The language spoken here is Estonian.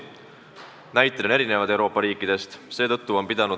Näiteid Euroopa riikidest on erinevaid.